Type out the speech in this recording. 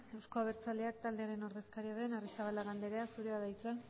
euzko abertzaleak taldearen ordezkaria den arrizabalaga andrea zurea da hitza